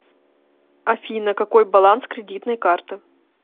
афина какой баланс кредитной карты